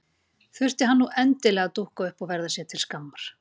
Þurfti hann nú endilega að dúkka upp og verða sér til skammar!